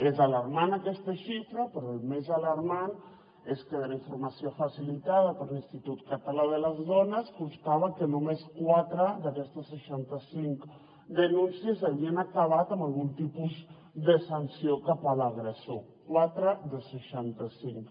és alarmant aquesta xifra però el més alarmant és que de la informació facilitada per l’institut català de les dones constava que només quatre d’aquestes seixanta cinc denúncies havien acabat amb algun tipus de sanció cap a l’agressor quatre de seixanta cinc